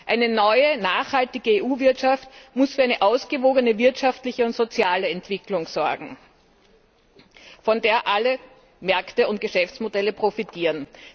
Eine neue, nachhaltige EU Wirtschaft muss für eine ausgewogene wirtschaftliche und soziale Entwicklung sorgen, von der alle Märkte und Geschäftsmodelle profitieren.